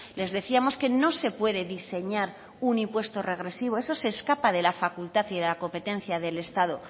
les decíamos que no se puede diseñar un impuesto regresivo eso se escapa de la facultad y de la competencia del estado